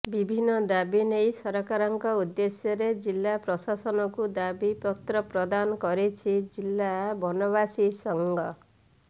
ବିଭିନ୍ନ ଦାବି ନେଇ ସରକାରଙ୍କ ଉଦେଶ୍ୟରେ ଜିଲ୍ଲାପ୍ରଶାସନକୁ ଦାବି ପତ୍ର ପ୍ରଦାନ କରିଛି ଜିଲ୍ଲା ବନବାସୀ ସଂଘ